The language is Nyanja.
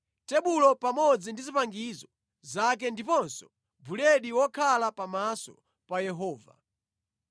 tebulo pamodzi ndi zipangizo zake ndiponso buledi wokhala pamaso pa Yehova;